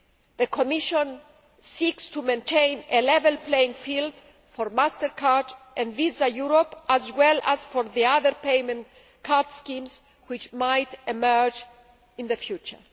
The Commission seeks to maintain a level playing field for MasterCard and Visa Europe as well as for the other payment card schemes which might emerge in the future.